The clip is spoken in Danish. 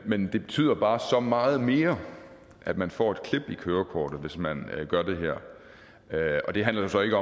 men det betyder bare så meget mere at man får et klip i kørekortet hvis man gør det her og det handler jo så ikke